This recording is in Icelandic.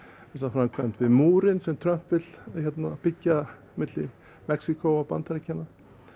framkvæmdir við múrinn sem Trump vill byggja milli Mexíkó og Bandaríkjanna